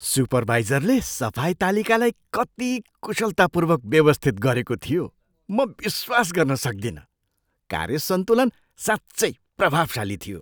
सुपरवाइजरले सफाई तालिकालाई कति कुशलतापूर्वक व्यवस्थित गरेको थियो म विश्वास गर्न सक्दिनँ! कार्य सन्तुलन साँच्चै प्रभावशाली थियो।